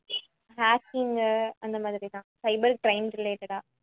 haking உ அந்த மாதிரிதான் cyber crime related ஆ